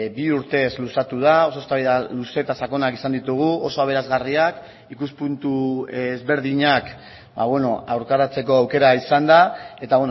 bi urtez luzatu da oso eztabaida luze eta sakonak izan ditugu oso aberasgarriak ikuspuntu ezberdinak aurkaratzeko aukera izan da eta